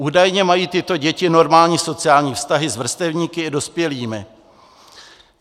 Údajně mají tyto děti normální sociální vztahy s vrstevníky i dospělými.